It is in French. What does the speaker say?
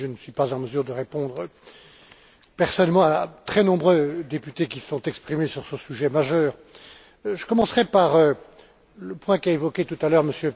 Même si je ne suis pas en mesure de répondre personnellement à de très nombreux députés qui se sont exprimés sur ce sujet majeur, je commencerai par le point qu'a soulevé tout à l'heure M.